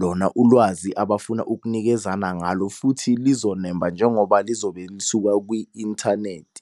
lona ulwazi abafuna ukunikezana ngalo, futhi lizonemba njengoba lizobe lisuka kwi-inthanethi.